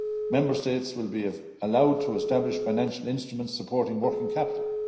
Member States will be allowed to establish financial instruments supporting working capital.